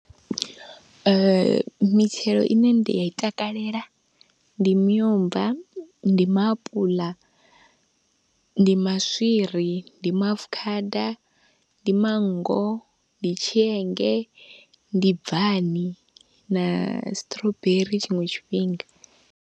Mitshelo ine ndi ya i takalela ndi miomva, ndi maapuḽa, ndi maswiri, ndi maafukhada, ndi manngo, ndi tshienge, ndi bvani, na strawberry tshiṅwe tshifhinga.